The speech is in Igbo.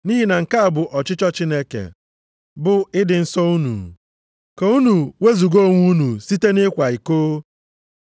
Nʼihi na nke a bụ ọchịchọ Chineke, bụ ị dị nsọ unu. Ka unu wezuga onwe unu site na ịkwa iko,